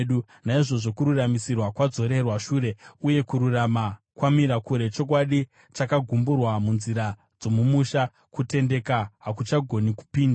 Naizvozvo kururamisirwa kwadzorerwa shure, uye kururama kwamira kure; chokwadi chakagumburwa munzira dzomumusha, kutendeka hakuchagoni kupinda.